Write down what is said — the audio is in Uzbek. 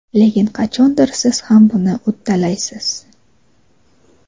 Lekin qachondir siz ham buni uddalaysiz.